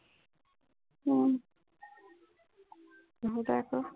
উম বুজাই ক